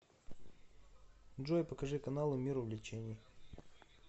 джой покажи каналы мир увлечений